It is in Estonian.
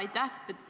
Aitäh!